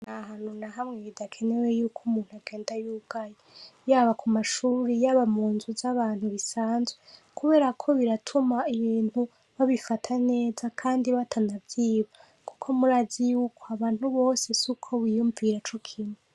A hanu na hamwe ibidakenewe yuko umuntu agenda y'ugaye yaba ku mashuri yaba mu nzu z'abantu bisanzwe, kubera ko biratuma ibintu babifata neza, kandi batanavyiba, kuko murazi yuko abantu bose si uko biyumvira co kimu.